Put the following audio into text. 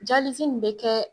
nin be kɛ